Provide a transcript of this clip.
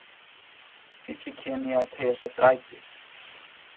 Fíll í Kenía að teygja sig eftir æti.